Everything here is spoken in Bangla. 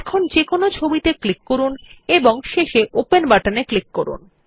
এখন যেকোনো একটি ছবিত়ে ক্লিক করুন এবং শেষে ওপেন বাটনে ক্লিক করুন